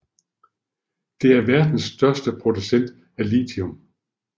Det er verdens største producent af lithium